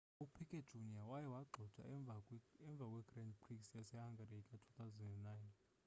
upiquet jr waye wagxothwa emva kwegrand prix yasehungary ka-2009